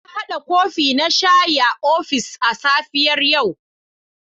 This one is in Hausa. Na hada kofi na shayi a ofis a safiyar yau.